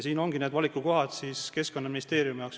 Siin ongi need Keskkonnaministeeriumi valikukohad.